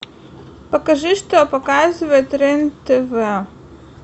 покажи что показывает рен тв